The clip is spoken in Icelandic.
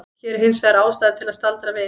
Hér er hins vegar ástæða til að staldra við.